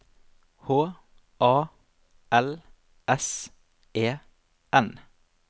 H A L S E N